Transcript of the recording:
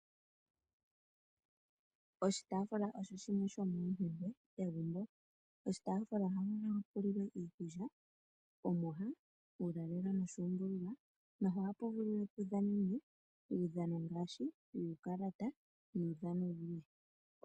Oshitaafula osho shimwe shomoompumbwe dhegumbo. Oshitaafuula ohapu vulu pulilwe iikulya, omwiha, uulalelo noshuumbululwa noha pu vulu pudhanenwe uudhano ngaashi wuukalata nuudhano wulwe.